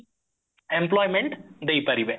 employment ଦେଇପାରିବେ